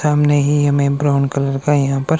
सामने ही हमें ब्राउन कलर का यहां पर--